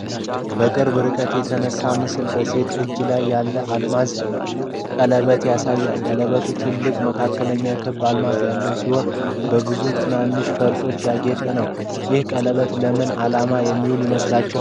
በቅርብ ርቀት የተነሳው ምስል በሴት እጅ ላይ ያለ የአልማዝ ቀለበትን ያሳያል። ቀለበቱ ትልቅ መካከለኛ ክብ አልማዝ ያለው ሲሆን፣ በብዙ ትናንሽ ፈርጦች ያጌጠ ነው። ይህ ቀለበት ለምን ዓላማ የሚውል ይመስላችኋል?